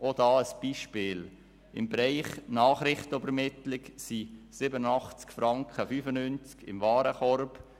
Auch hierzu ein Beispiel: Für den Bereich Nachrichtenübermittlung sind gemäss Warenkorb 87.95 Franken vorgesehen.